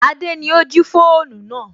Adé ni ó jí fóònù náà